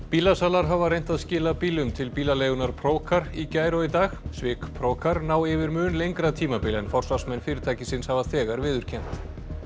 bílasalar hafa reynt að skila bílum til bílaleigunnar í gær og í dag svik ná yfir mun lengra tímabil en forsvarsmenn fyrirtækisins hafa þegar viðurkennt